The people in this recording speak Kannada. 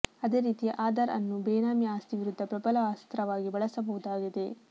ಅದೇ ರೀತಿ ಆಧಾರ್ ಅನ್ನು ಬೇನಾಮಿ ಆಸ್ತಿ ವಿರುದ್ಧ ಪ್ರಬಲ ಅಸ್ತ್ರವಾಗಿ ಬಳಸಬಹುದಾಗಿದೆ